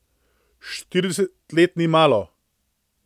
Štirideset let ni malo.